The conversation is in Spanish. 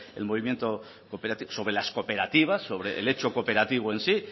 el movimiento cooperativo sobre las cooperativas sobre el hecho cooperativo en sí